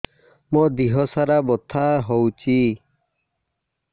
ମୋ ଦିହସାରା ବଥା ହଉଚି